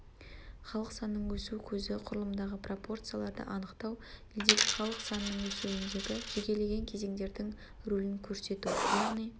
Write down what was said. халық санының өсу көзі құрылымындағы пропорцияларды анықтау елдегі халық санының өсуіндегі жекелеген кезеңдердің рөлін көрсету яғни